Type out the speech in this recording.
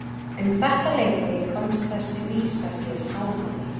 Um þetta leyti komst þessi vísa hér í hámæli